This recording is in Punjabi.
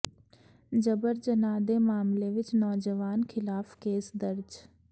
ਜਬਰ ਜਨਾਹ ਦੇ ਮਾਮਲੇ ਵਿਚ ਨੌਜਵਾਨ ਖਿਲਾਫ਼ ਕੇਸ ਦਰਜ